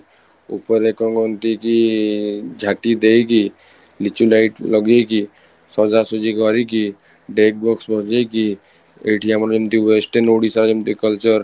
ଉପରେ କୁହନ୍ତି କି ଝାଟି ଦେଇକି ଲିଚୁ light ଲଗେଇକି ସଜାସଜି କରିକି deck box ବଜେଇକି ଏଠି ଆମର ଯେମିତି west and ଓଡିଶା ଯେମିତି culture